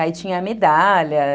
Aí tinha a medalha.